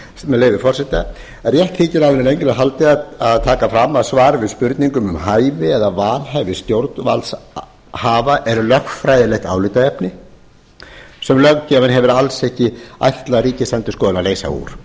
með leyfi forseta rétt þykir áður en lengra er haldið að taka fram að spurningum um hæfi eða vanhæfi stjórnvaldshafa er lögfræðilegt álitaefni sem löggjafinn hefur alls ekki ætlað ríkisendurskoðun að leysa úr